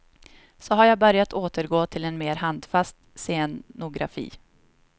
Så jag har börjat återgå till mer handfast scenografi.